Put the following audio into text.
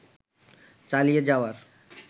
চালিয়ে যাওয়ার